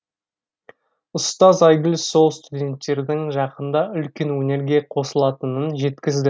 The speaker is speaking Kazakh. ұстаз айгүл сол студенттердің жақында үлкен өнерге қосылатынын жеткізді